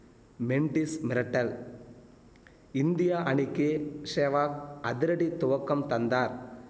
மெண்டிஸ் மிரட்டல் இந்தியா அணிக்கு சேவாக் அதிரடி துவக்கம் தந்தார்